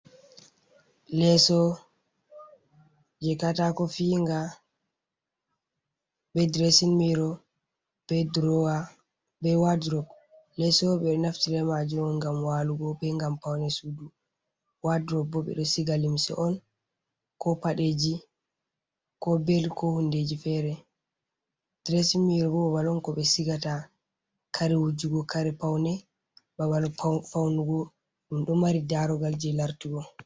Leeso je Katako fi'inga, be Diresin miro be wadurob. Leso ɓe naftire be majum'on ngam walugo be ngam Paune Sudu. wadurob bo ɓe ɗon Siga limse'on ko Paɗeji ko bel, ko hundeji fere. Diresin miro bo babal'on ko ɓe Sigata kare wujugo, Kare Paune Babal fau babal Paunugo ɗum ɗo mari Darogal je lartugo.